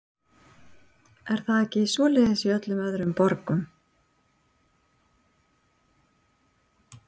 Íris: Er það ekki svoleiðis í öllum öðrum borgum?